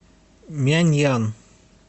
мяньян